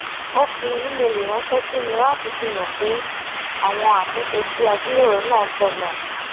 ó fi ímeèlì ránṣẹ sí mi láti fihàn mí pé àwọn àtúnṣe tí a jíròrò náà tọnà